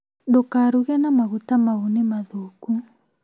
Ndũkaruge na maguta mau nĩmathũku